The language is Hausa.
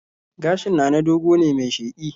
Gashin Nana dogo ne mai sheƙi